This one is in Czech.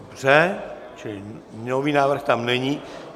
Dobře, čili nový návrh tam není.